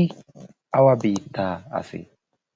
i awa biittaa asee?